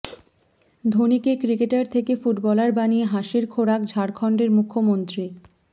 ধোনিকে cricketer থেকে footballer বানিয়ে হাসির খোরাক ঝাড়খণ্ডের মুখ্যমন্ত্রী